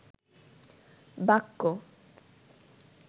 বাক্য